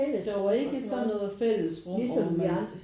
Der var ikke sådan noget fællesrum hvor man